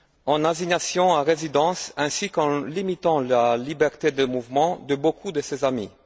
en assignation à résidence, ainsi qu'en limitant la liberté de mouvement de beaucoup de ses amis.